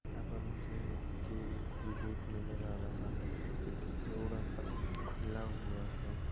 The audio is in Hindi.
यहाँ पर मुझे एक के गे गेट नज़र आ रहा है जोकि थोड़ा सा खुला हुआ है।